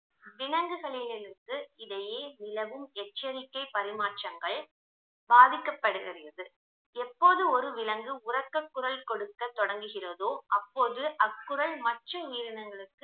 விலங்குகளிலிருந்து இதையே நிலவும் எச்சரிக்கை பரிமாற்றங்கள் பாதிக்கப்படுகிறது எப்போது ஒரு விலங்கு உரக்கக் குரல் கொடுக்க தொடங்குகிறதோ அப்போது அக்குரல் மற்ற உயிரினங்களுக்கு